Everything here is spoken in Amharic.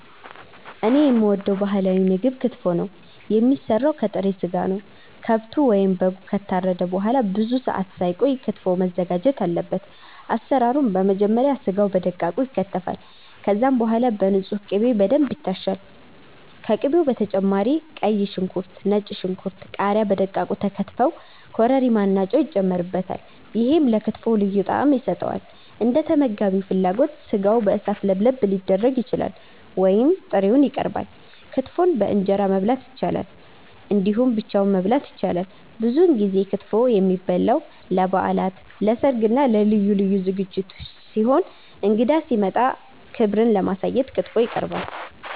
እኔ የምወደው ባህላዊ ምግብ ክትፎ ነው። የሚሰራው ከጥሬ ስጋ ነው። ከብቱ ወይም በጉ ከታረደ በኋላ ብዙ ሰአት ሳይቆይ ክትፎው መዘጋጀት አለበት። አሰራሩም በመጀመሪያ ስጋው በደቃቁ ይከተፋል። ከዛም በኋላ በንጹህ ቅቤ በደንብ ይታሻል። ከቅቤው በተጨማሪ ቀይ ሽንኩርት፣ ነጭ ሽንኩርት፣ ቃሪያ በደቃቁ ተከትፈው ኮረሪማ እና ጨው ይጨመርበታል። ይሄም ለክትፎው ልዩ ጣዕም ይሰጠዋል። እንደተመጋቢው ፍላጎት ስጋው በእሳት ለብለብ ሊደረግ ይችላል ወይም ጥሬውን ይቀርባል። ክትፎን በእንጀራ መብላት ይቻላል እንዲሁም ብቻውን መበላት ይችላል። ብዙውን ጊዜ ክትፎ የሚበላው ለበዓላት፣ ለሰርግ እና ለልዩ ልዩ ዝግጅቶች ሲሆን እንግዳ ሲመጣም ክብርን ለማሳየት ክትፎ ይቀርባል።